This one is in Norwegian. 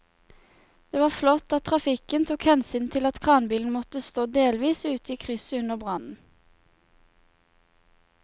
Det var flott at trafikken tok hensyn til at kranbilen måtte stå delvis ute i krysset under brannen.